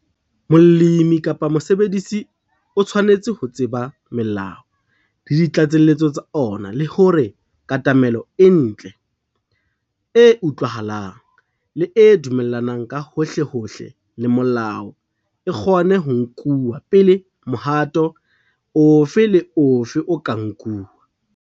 Molemi kapa mosebedisi o tshwanetse ho tseba melao le ditlatselletso tsa ona e le hore katamelo e ntle, e utlwahalang, le e dumellanang ka hohlehohle le molao e kgone ho nkuwa pele mohato ofe le ofe o ka nkuwa.